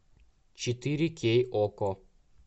четыре кей окко